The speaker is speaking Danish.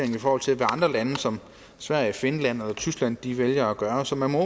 i forhold til hvad andre lande såsom sverige finland og tyskland vælger at gøre så man må